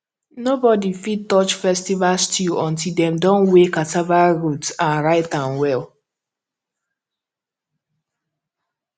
nobody fit touch festival stew until dem don weigh cassava root and write am well